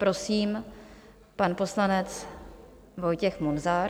Prosím, pan poslanec Vojtěch Munzar.